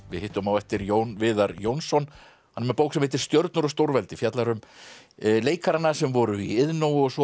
við hittum á eftir Jón Viðar Jónsson hann er með bók sem heitir stjörnur og stórveldi fjallar um leikarana sem voru í Iðnó og svo